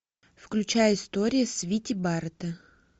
включай история свити барретта